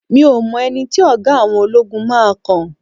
mi o mọ ẹni tí oga àwọn ologun máa kan